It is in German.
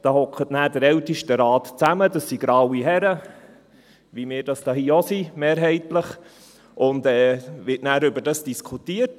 Der Ältestenrat sitzt zusammen – das sind graue Herren, wie wir hier es mehrheitlich auch sind – und es wird darüber diskutiert.